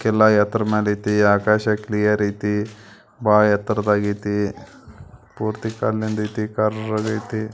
ಇದಕೆಲ್ಲಾ ಎತ್ರ ಮೇಲೆ ಐತಿ ಆಕಾಶ ಕ್ಲಿಯರ್ ಐತಿ ಬಹಳ ಎತ್ತರದಲ್ಲಿ ಐತಿ ಪೂರ್ತಿ ಕಳ್ಳದ ಯತಿ ಪೂರ್ತಿ ಖರಗತಿ.